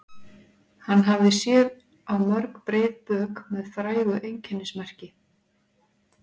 Hann hafði séð á mörg breið bök með frægu einkennismerki.